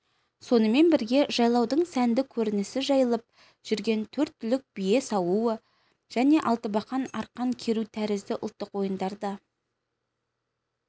сонымен бірге жайлаудың сәнді көрінісі жайылып жүрген төрт түлік бие сауу және алтыбақан арқан керу тәрізді ұлттық ойындар да